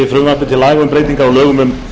breytingar á lögum um